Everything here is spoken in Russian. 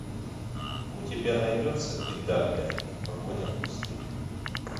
у тебя найдется идальго погоня в пустыне